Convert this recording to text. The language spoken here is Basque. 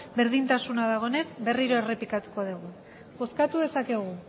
berdintasuna dagoenez berriro errepikatuko dugu bozkatu dezakegu